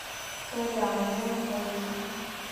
кореан где находится